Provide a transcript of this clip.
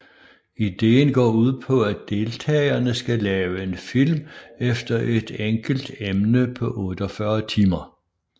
Ideen går ud på at deltagerne skal lave en film efter et enkelt emne på 48 timer